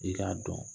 I k'a dɔn